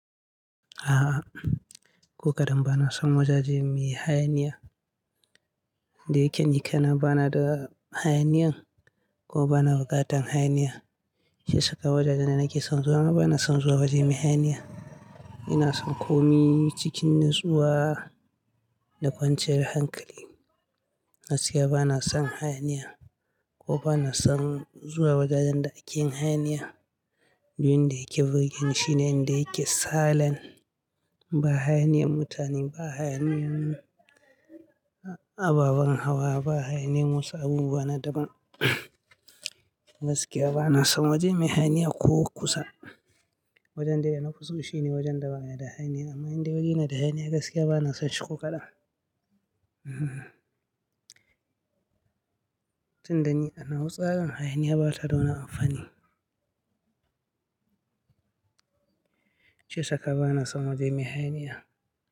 A'a, ko kaɗan bana son wajaje mai hayaniya. Da yake ni kana bana da hayaniyan ko bana bukatar hayaniya. Shi sakar wajajen da nake son zuwa ma bana son zuwa waje mai hayaniya. Ina son komi cikin natsuwa da kwanciyar hankali. Gaskiya bana son hayaniya ko bana son zuwa wajajen da ake hayaniya. Domin da yake wajen shine inda yake salent ba hayaniyan mutane, ba hayaniyan ababen hawa, ba hayaniyan masu abubuwa na daban. Gaskiya bana son waje mai hayaniya ko kusa. Wajen da fiso shi ne wajen da baya da hayaniya. Amma inda wuri yana da hayaniya gaskiya bana son shi ko kaɗan. Tunda ni an hau tsarin hayaniya bata da wani amfani. Shi sakar bana son waje mai hayaniya.